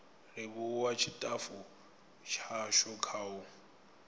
livhuwa tshitafu tshashu kha u